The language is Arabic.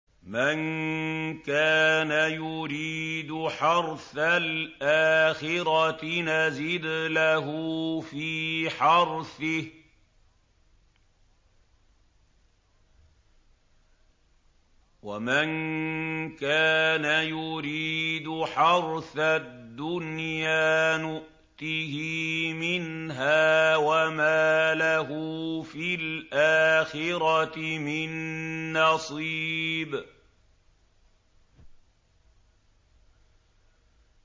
مَن كَانَ يُرِيدُ حَرْثَ الْآخِرَةِ نَزِدْ لَهُ فِي حَرْثِهِ ۖ وَمَن كَانَ يُرِيدُ حَرْثَ الدُّنْيَا نُؤْتِهِ مِنْهَا وَمَا لَهُ فِي الْآخِرَةِ مِن نَّصِيبٍ